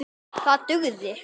Það dugði.